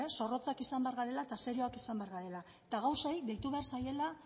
zorrotzak izan behar garela eta serioak izan behar garela eta gauzei deitu behar zaiela